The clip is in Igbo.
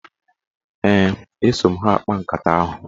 Ee, eso m ha akpa nkata ahụ.